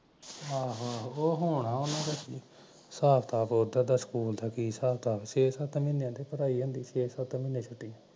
ਆਹੋ ਆਹੋ ਹੋਣਾ ਓਹਨਾਂ ਦਾ ਹਿਸਾਬ ਕਿਤਾਬ ਓਦਰ ਦਾ ਸਕੂਲ ਕੀ ਹਿਸਾਬ ਕਿਤਾਬ ਠੀਕ ਐ ਛੇ ਸਤ ਮਹੀਨੇ ਪੜਾਈ ਹੁੰਦੀ ਛੇ ਸੱਤ ਮਹੀਨੇ ਛੁਟੀ ਹੁੰਦੀ